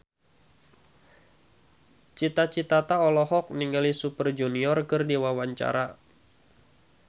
Cita Citata olohok ningali Super Junior keur diwawancara